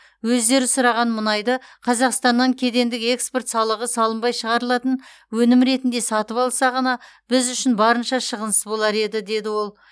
өздері сұраған мұнайды қазақстаннан кедендік экспорт салығы салынбай шығарылатын өнім ретінде сатып алса ғана біз үшін барынша шығынсыз болар еді деді ол